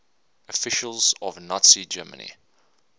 officials of nazi germany